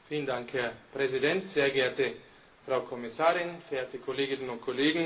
Herr Präsident, sehr geehrte Frau Kommissarin, verehrte Kolleginnen und Kollegen!